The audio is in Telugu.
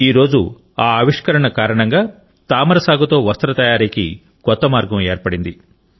నేడు ఆ ఆవిష్కరణ కారణంగా తామర సాగుతో వస్త్ర తయారీకి కొత్త మార్గం ఏర్పడింది